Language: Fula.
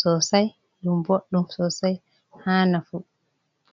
sosai dum boddum sosai ha nafu.